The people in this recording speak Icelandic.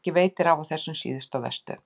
Ekki veitir af á þessum síðustu og verstu.